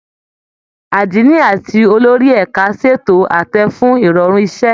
Àdínì àti olórí ẹ̀ka ṣètò àtẹ fún ìrọ̀rùn iṣẹ́